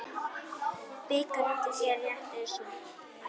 Bikar undir stétt er sú.